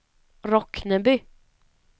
Rockneby